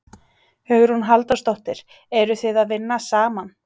Hugrún Halldórsdóttir: Eru þið að vinna saman?